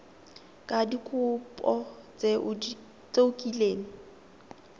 ka dikopo tse o kileng